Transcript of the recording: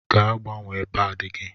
Gaa gbanwee paadi gị!